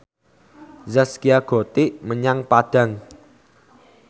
Zaskia Gotik dolan menyang Padang